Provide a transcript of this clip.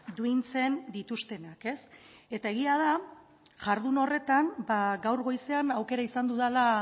duintzen dituztenak ez eta egia da jardun horretan gaur goizean aukera izan dudala